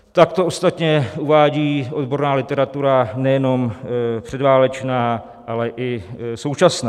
Tak to ostatně uvádí odborná literatura nejenom předválečná, ale i současná.